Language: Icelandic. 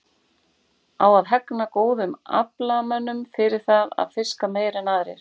Á að hegna góðum aflamönnum fyrir það að fiska meira en aðrir?